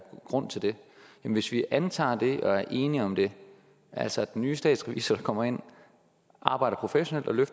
grund til det hvis vi antager det og er enige om det altså at den nye statsrevisor kommer ind og arbejder professionelt og